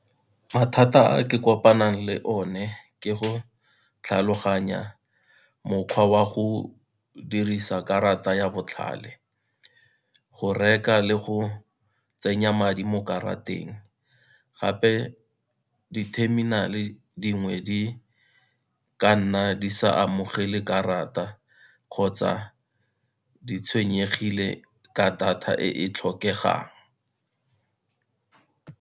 Mathata a ke kopanang le one ke go tlhaloganya mokgwa wa go dirisa karata ya botlhale, go reka le go tsenya madi mo karateng, gape diterminale dingwe di ka nna di sa amogele karata kgotsa di tshwenyegile ka data e e tlhokegang.